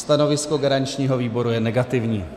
Stanovisko garančního výboru je negativní.